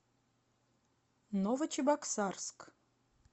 новочебоксарск